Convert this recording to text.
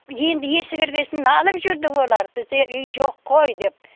енді есі кірген соң налып жүрді олар бізде үй жоқ қой деп